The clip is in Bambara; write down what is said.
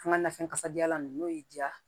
An ka nafɛn kasadiyalan nunnu n'o y'i diya